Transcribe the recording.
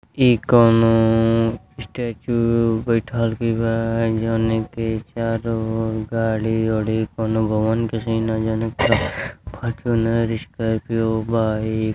इ कउनो स्टैचू बैठकी बा जौनो के चारो ओर गाड़ी-उरी कउनो भवन क्वे सीन ह जौना के फॉर्चूनर स्कॉर्पियो बा इ --